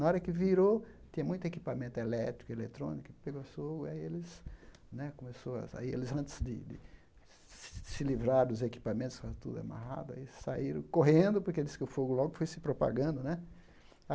Na hora que virou, tinha muito equipamento elétrico e eletrônico, pegou fogo, e aí eles né começou, aí antes de de se livrar dos equipamentos que estavam tudo amarrado, aí saíram correndo, porque disse que o fogo logo foi se propagando né.